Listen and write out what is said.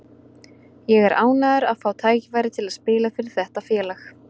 Ég er ánægður að fá tækifæri til að spila fyrir þetta félag.